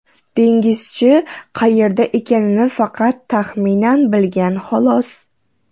Dengizchi qayerda ekanini faqat taxminan bilgan xolos.